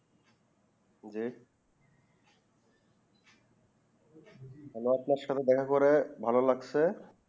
আপনা সাথে দেখা করে ভালো লাগছে